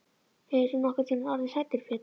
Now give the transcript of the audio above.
Hefur þú nokkurntíma orðið hræddur Pétur?